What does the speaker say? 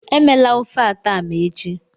Emela ofe atama echi.